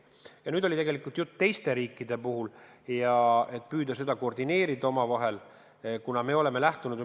Ja juttu oli tegelikult ka teistest riikidest, me püüame seda tegevust omavahel koordineerida.